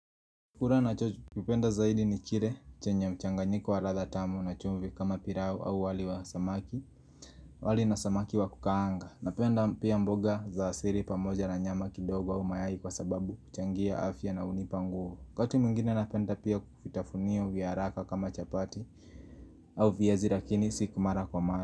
Kukura nachokipenda zaidi ni kire chenye mchanganyiko wa ratha tamu na chumvi kama pirao au wali wa samaki Wali na samaki wa kukaanga. Napenda pia mboga za siri pamoja na nyama kidogo au mayai kwa sababu kuchangia afya na hunipa nguvu. Wakati mungine napenda pia vitafunio viaraka kama chapati Au viyazi lakini siku mara kwa mara.